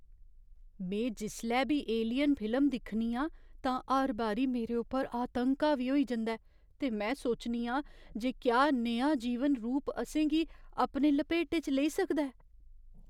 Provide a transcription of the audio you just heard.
में जिसलै बी 'एलियन' फिल्म दिक्खनी आं तां हर बारी मेरे उप्पर आतंक हावी होई जंदा ऐ ते सोचनी आं जे क्या नेहा जीवन रूप असें गी अपने लपेटे च लेई सकदा ऐ।